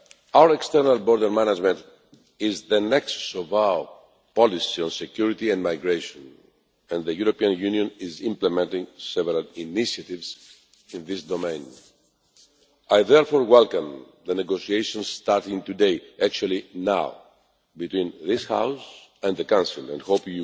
Our external border management is the nexus of our policy on security and migration and the European Union is implementing several initiatives in this domain. I therefore welcome the negotiations starting today indeed now between this House and the Council, and I hope